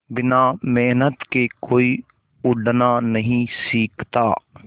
बिना मेहनत के कोई उड़ना नहीं सीखता